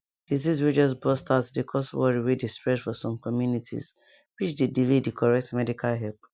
disease way just burst out dey cause worry way dey spread for some communities which dey delay the correct medical help